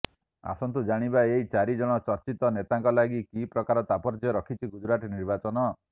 ଆସନ୍ତୁ ଜାଣିବା ଏଇ ଚାରି ଜଣ ଚର୍ଚ୍ଚିତ ନେତାଙ୍କ ଲାଗି କି ପ୍ରକାର ତାତ୍ପର୍ଯ୍ୟ ରଖିଛି ଗୁଜରାଟ ନିର୍ବାଚନ